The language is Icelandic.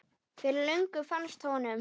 Fyrir löngu fannst honum.